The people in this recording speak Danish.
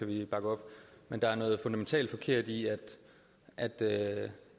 vi bakke op men der er noget fundamentalt forkert i at at